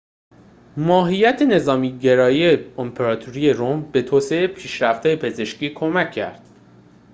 ماهیت نظامی‌گرای امپراتوری روم به توسعه پیشرفت‌های پزشکی کمک کرد